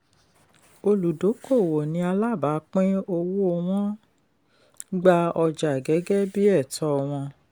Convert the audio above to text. olùdókoòwò ni alábàápín owó wọn gba ọjà gẹ́gẹ́ bí ẹ̀tọ́ wọn.